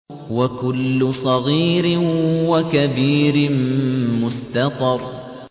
وَكُلُّ صَغِيرٍ وَكَبِيرٍ مُّسْتَطَرٌ